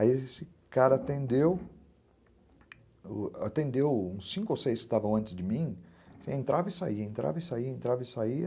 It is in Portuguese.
Aí esse cara atendeu uns cinco ou seis que estavam antes de mim, entrava e saía, entrava e saía, entrava e saía.